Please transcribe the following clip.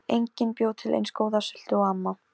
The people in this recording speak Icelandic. Perla, stilltu tímamælinn á sjötíu og eina mínútur.